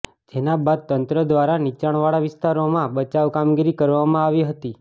જેના બાદ તંત્ર દ્વારા નીચાણવાળા વિસ્તારોમાં બચાવ કામગીરી કરવામાં આવી હતી